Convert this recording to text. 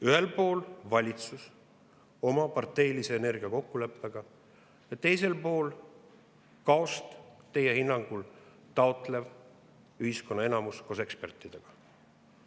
Ühel pool on valitsus oma parteilise energiakokkuleppega ja teisel pool teie hinnangul kaost taotlev ühiskonna enamus koos ekspertidega.